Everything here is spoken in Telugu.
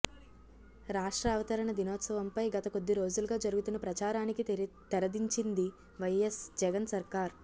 రాష్ట్రావతరణ దినోత్సవంపై గత కొద్దిరోజులుగా జరుగుతున్న ప్రచారానికి తెరదించింది వైఎస్ జగన్ సర్కార్